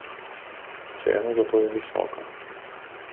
Cena za to je visoka.